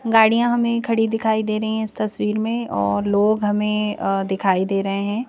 गाड़ियां हमें खड़ी दिखाई दे रही है इस तस्वीर में और लोग हमें दिखाई दे रहे हैं।